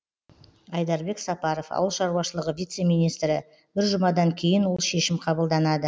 айдарбек сапаров ауыл шаруашылығы вице министрі бір жұмадан кейін ол шешім қабылданады